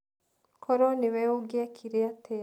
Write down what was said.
Korũo nĩwe ũngĩekire atĩa?